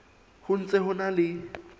ho ntse ho na le